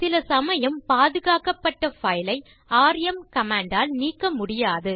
சில சமயம் பாதுகாக்கப்பட்ட பைல் ஐ ராம் கமாண்ட் ஆல் நீக்க முடியாது